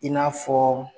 I n'a fɔ